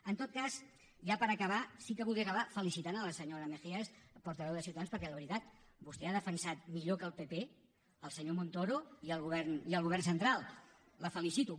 en tot cas ja per acabar sí que voldria acabar felicitant la senyora mejías portaveu de ciutadans perquè de veritat vostè ha defensat millor que el pp el senyor montoro i el govern central la felicito